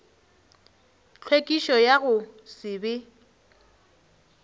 tlhwekišo ya go se be